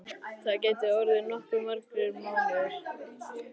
Það gætu orðið nokkuð margir mánuðir.